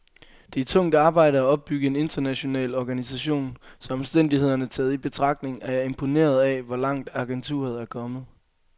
Det er tungt arbejde at opbygge en international organisation, så omstændighederne taget i betragtning er jeg imponeret af, hvor langt agenturet er kommet.